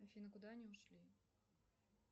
афина куда они ушли